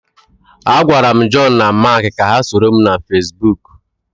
Agwara m Joonu na Maak ka ha soro m na Feesbuk.